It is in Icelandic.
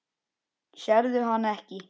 Sérðu hana ekki?